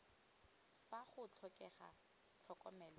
fa go tlhokega tlhokomelo e